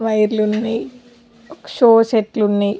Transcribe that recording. వైర్లు ఉన్నాయ్ ఒక షో చట్లు ఉన్నాయ.